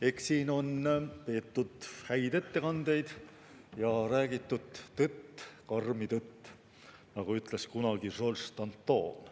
Eks siin on peetud häid ettekandeid ja räägitud tõtt, karmi tõtt, nagu ütles kunagi Georges Danton.